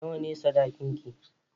Nawa ne sadakin ki?